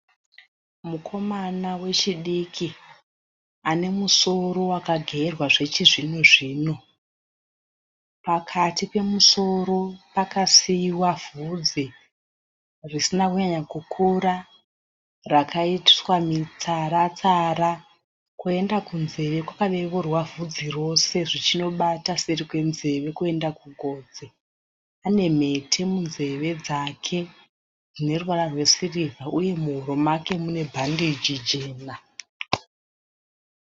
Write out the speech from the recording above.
Mukomana wechidiki , anemusoro wakagerwa zvechizvino zvino. Pakati pemusoro pakasiiwa vhudzi risina kunyanya kukura, rakaitwa mitsara-tsara. Kwoenda kunzeve kwakaveurwa vhudzi rose, zvichinobata seri kwenzeve kuenda kugotsi . Anemhete munzeve dzake dzine ruvara rwe sirivha, uye muhuro make mune bhandeji jena.